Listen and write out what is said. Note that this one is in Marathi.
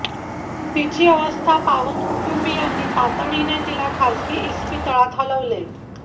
तिची अवस्था पाहून कुटुंबीयांनी तातडीने तिला खासगी इस्पितळात हलविले